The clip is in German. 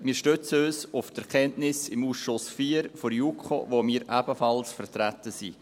Wir stützen uns auf die Erkenntnisse des Ausschusses IV der JuKo, in dem wir ebenfalls vertreten sind.